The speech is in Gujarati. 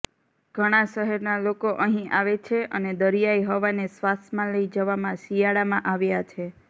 ઘણાં શહેરના લોકો અહીં આવે છે અને દરિયાઈ હવાને શ્વાસમાં લઇ જવામાં શિયાળામાં આવ્યાં છે